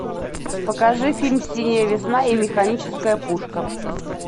покажи фильм синяя весна и механическая пушка